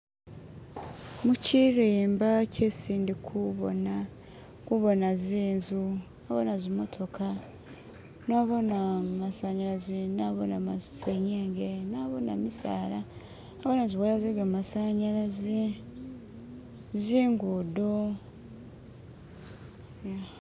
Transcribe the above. mukyirimba kyesi ndikubona kubona zinzu kubona zimotoka nabona masanyalaze nabona senyenge nabona misaala nabonana niziwaya zegamasanyalaze zingudo